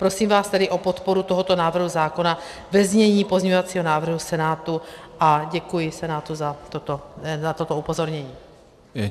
Prosím vás tedy o podporu tohoto návrhu zákona ve znění pozměňovacího návrhu Senátu a děkuji Senátu za toto upozornění.